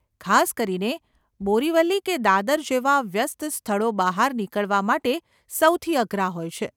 ખાસ કરીને બોરીવલી કે દાદર જેવાં વ્યસ્ત સ્થળો બહાર નીકળવા માટે સૌથી અઘરા હોય છે.